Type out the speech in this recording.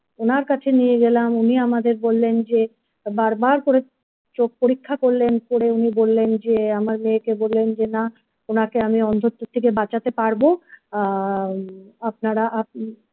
ওনার কাছে নিয়ে গেলাম উনি আমাদের বললেন যে বারবার করে চোখ পরীক্ষা করলেন করে উনি বললেন যে আমার মেয়েকে বললেন যে না ওনাকে আমি অন্ধত্ব থেকে বাঁচাতে পারব আহ আপনারা উম!